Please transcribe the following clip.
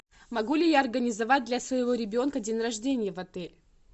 могу ли я организовать для своего ребенка день рождения в отеле